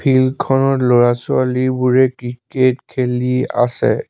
ফিল্ডখনত ল'ৰা ছোৱালীবোৰে ক্ৰিকেট খেলি আছে।